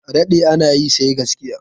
A daɗe ana yi, sai gaskiya.